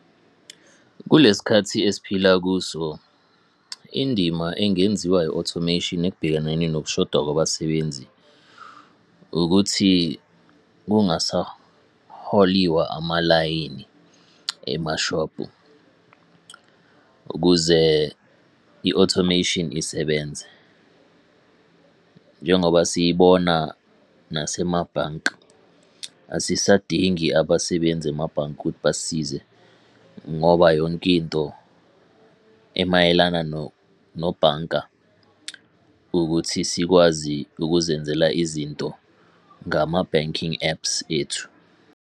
Kule sikhathi esiphila kuso, indima engenziwa i-automation ekubhekaneni nokushoda kwabasebenzi ukuthi kungasaholiwa amalayini emashobhu, ukuze i-automation isebenze. Njengoba siyibona nasemabhanki, asisadingi abasebenzi emabhanki ukuthi basisize ngoba yonke into emayelana nobhanka ukuthi sikwazi ukuzenzela izinto ngama-banking apps ethu.